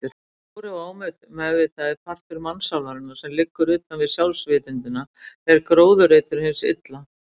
Sá stóri og ómeðvitaði partur mannssálarinnar sem liggur utanvið sjálfsvitundina er gróðurreitur hins illa.